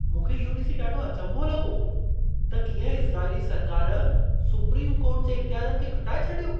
मूंखे इहो ॾिसी ॾाढो अचंभो लॻो त कीअं इज़राइली सरकारु सुप्रीम कोर्ट जे इख़्तियारनि खे घटाए छॾियो।